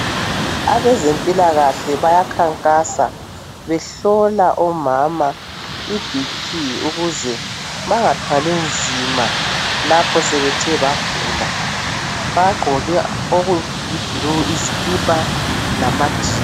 Abezempilakahle bayakhankasa behlola omama iBP ukuze bengathwali nzima lapho sebethe bagula. Bagqoke okuyiblue izikipa lamajean.